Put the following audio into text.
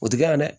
O ti kɛ yan dɛ